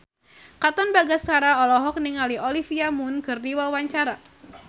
Katon Bagaskara olohok ningali Olivia Munn keur diwawancara